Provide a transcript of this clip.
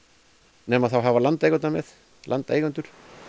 nema hafa landeigendur með landeigendur